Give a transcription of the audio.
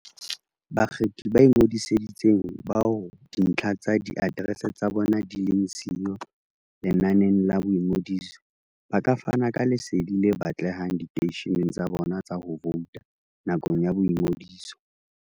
Bakgethi ba ingodisitseng, bao dintlha tsa diaterese tsa bona di leng siyo lenaneng la boingodiso, ba ka fana ka lesedi le batlehang diteisheneng tsa bona tsa ho vouta nakong ya boingodiso.